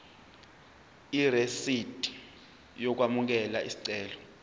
irisidi lokwamukela isicelo